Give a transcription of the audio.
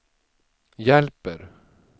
hjälper